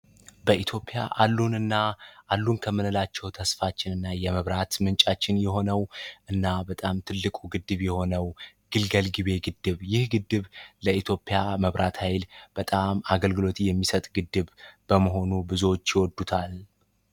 በኢትዮጵያ አሉንና አሉን ከምንላቸው ተስፋችን እና የመብራት ምንጫችን የሆነው እና በጣም ትልቁ ግድብ የሆነው ግልገል ጊቤ ግድብ ይህ ግድብ ለኢትዮጵያ መብራት ኃይል በጣም አገልግሎት የሚሰጥ ግድብ በመሆኑ ብዙዎች ይወዱታል።